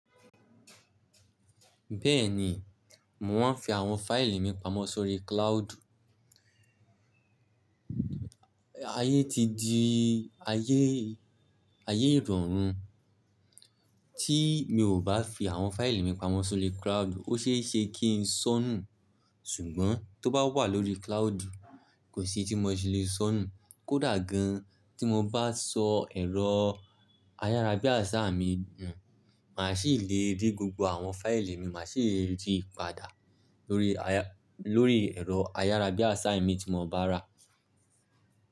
Bẹ́ẹ̀ni, mò maa ń fi àwọn fáìlì mi pamọ́ sórí cloud. Ayé ti di ayé, ayé ìrọ̀rùn. Tí mi ò bá fi àwọn fáìlì mi pamọ́ sórí cloud, ó ṣe é ṣe kí n sọnù. Ṣùgbọ́n tó bá wà lórí cloud, kò sí tí mo ṣe lè sọnù. Kódà gan-an tí mo bá sọ ẹ̀rọ ayárabíàṣá mi nù, màá sì lè rí gbogbo àwọn fáìlì mi, màá sì lè ri padà lórí, lórí ẹ̀rọ ayárabíàṣá imi tí mo bá rà.